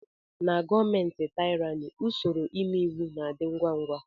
Na gọọmenti taịrani usoro ime iwu na - adị ngwá ngwá.